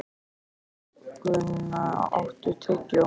Þórgunna, áttu tyggjó?